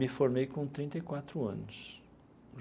Me formei com trinta e quatro anos.